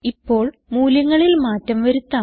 ഇപ്പോൾ മൂല്യങ്ങളിൽ മാറ്റം വരുത്താം